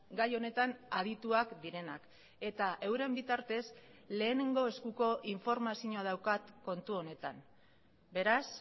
gai honetan adituak direnak eta euren bitartez lehenengo eskuko informazioa daukat kontu honetan beraz